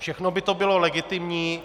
Všechno by to bylo legitimní.